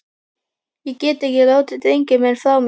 Ég get ekki látið drenginn minn frá mér!